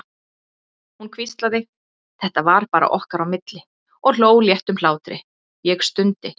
Hún hvíslaði, þetta var bara okkar á milli, og hló léttum hlátri, ég stundi.